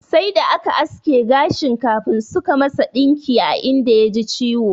Sai da aka aske gashin kafin suka masa ɗinki a inda ya ji ciwo.